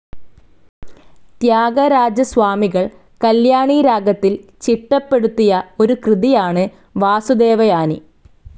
ത്യാഗരാജസ്വാമികൾ കല്യാണിരാഗത്തിൽ ചിറ്റപെടുത്തിയ ഒരു കൃതിയാണു വാസുദേവയാനി.